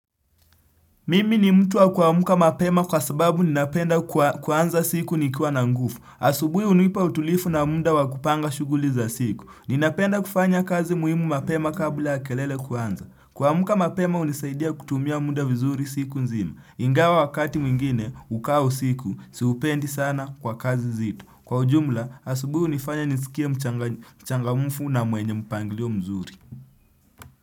Mimi ni mtu wa kuamka mapema kwa sababu ninapenda kuanza siku nikiwa na nguvu. Asubuhi hunipa utulivu na mda wa kupanga shughuli za siku. Ninapenda kufanya kazi muhimu mapema kabla ya kelele kuanza. Kuamka mapema hunisaidia kutumia muda vizuri siku nzima. Ingawa wakati mwingine ukawa usiku, siupendi sana kwa kazi nzito. Kwa ujumla, asubuhi hunifanya nisikie mchangamfu na mwenye mpangilio mzuri.